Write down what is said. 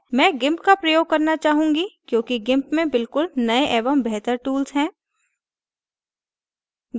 मैं gimp का प्रयोग करना चाहूँगी क्योंकि gimp में बिलकुल नये एवं बेहतर tools हैं